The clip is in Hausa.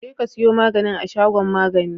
jekasiyo maganin a shagon magani